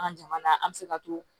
An ka jamana an bɛ se ka to